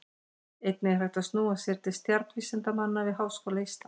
Einnig er hægt að snúa sér til stjarnvísindamanna við Háskóla Íslands.